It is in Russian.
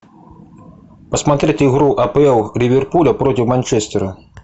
посмотреть игру апл ливерпуля против манчестера